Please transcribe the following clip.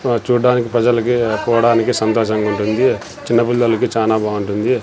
అహ్ చూడ్డానికి ప్రజలకి పోవడానికి సంతోషంగా ఉంటుంది చిన్నపిల్లలకి చానా బాగుంటుంది.